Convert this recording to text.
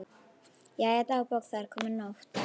Jæja, dagbók, það er komin nótt.